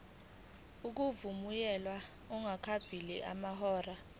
ukuvunyelwa kungakapheli amahora